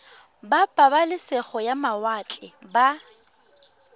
ba pabalesego ya mawatle ba